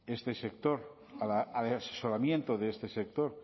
de este sector al asesoramiento de este sector